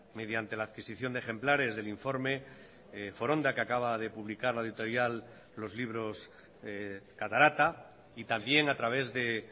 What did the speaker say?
mediante la adquisición de ejemplares del informe foronda que acaba de publicar la editorial los libros catarata y también a través de